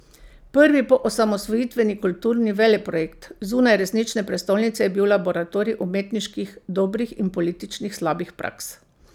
Prvi poosamosvojitveni kulturni veleprojekt zunaj resnične prestolnice je bil laboratorij umetniških dobrih in političnih slabih praks.